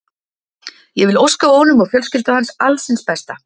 Ég vil óska honum og fjölskyldu hans alls hins besta.